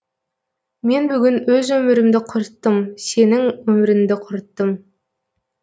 мен бүгін өз өмірімді құрттым сенің өміріңді құрттым